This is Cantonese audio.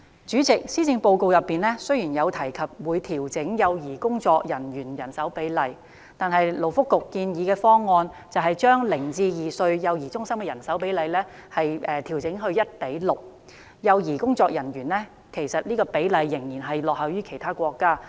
主席，雖然施政報告提及會調整幼兒工作員的人手比例，但勞工及福利局建議的方案，把零至兩歲幼兒中心的人手比例調整至 1：6， 工作人員與幼兒的比例仍然落後於其他國家。